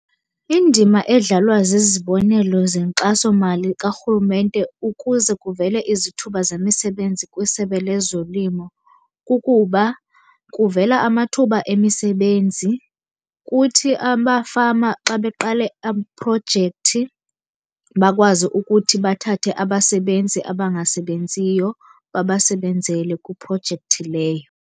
Indima edlalwa zizibonelo zenkxasomali karhulumente ukuze kuvele izithuba zemisebenzi kwiSebe lezoLimo kukuba kuvela amathuba emisebenzi. Kuthi amafama xa beqale iprojekthi bakwazi ukuthi bathathe abasebenzi abangasebenziyo babasebenzele kwiprojekthi leyo.